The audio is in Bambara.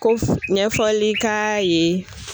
Ko ɲɛfɔli k'a ye.